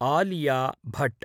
Alia Bhat